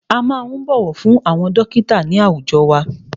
A máa ń bọ̀wọ̀ fún àwọn dọ́kítà ní àwùjọ wa.